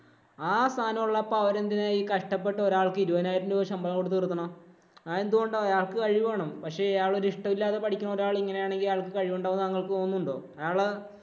ആ സാധനം ഒള്ളപ്പോ അവരെന്തിനാ ഒരാള്‍ക്ക് കഷ്ടപ്പെട്ട് ഇരുപതിനായിരം രൂപ ശമ്പളം കൊടുത്ത് നിര്‍ത്തണേ. അത് എന്തുകൊണ്ടാ ഒരാൾക്ക് കഴിവ് വേണം. പക്ഷേ അയാള് ഇഷ്ടമില്ലാതെ പഠിക്കുന്ന ഒരാള് ഇങ്ങനെയാണെങ്കില്‍ അയാള്‍ക്ക് കഴിവുണ്ടാകും എന്ന് താങ്കള്‍ക്ക് തോന്നുന്നുണ്ടോ? അയാള്